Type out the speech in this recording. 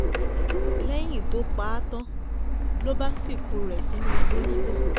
lẹ́yìn tó pa á tán ló bá sìnkú rẹ̀ sínú igbó níbẹ̀